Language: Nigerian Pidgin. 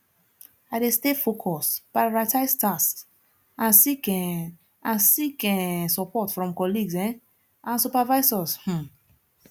i dey stay focused prioritize tasks and seek um and seek um support from colleagues um and supervisors um